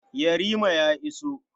Yarima ya iso.